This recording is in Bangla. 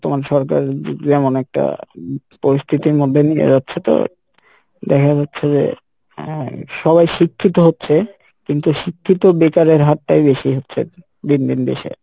বর্তমান সরকার যে~যেমন একটা পরিস্থিতির মধ্যে নিয়ে যাচ্ছে তো দেখা যাচ্ছে যে আহ সবাই শিক্ষিত হচ্ছে কিন্তু শিক্ষিত বেকারের হার টাই বেশি হচ্ছে দিন দিন দেশে।